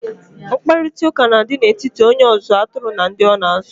Mkparịkọtaụka na-adi n'etiti onye ọzụzụ atụrụ na ndị ọ na-azụ.